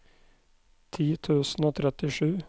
ti tusen og trettisju